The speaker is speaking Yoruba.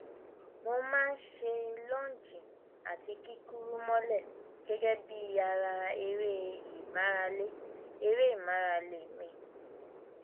mo má a ń ṣe lọọnjì àti kíkúrú mọlẹ gẹgẹ bí ara eré ìmárale eré ìmárale mi